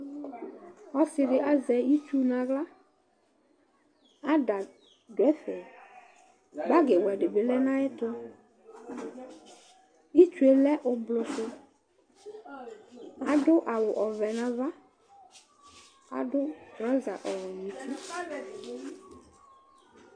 Ɔsɩ dɩ azɛ itsu nʋ aɣla, ada dʋ ɛfɛ, bagɩwɛ dɩ bɩ lɛ nʋ ayɛtʋ Itsu yɛ lɛ ʋblʋ sʋ Adʋ awʋ ɔvɛ nʋ ava, adʋ trɔza ɔwɛ nʋ uti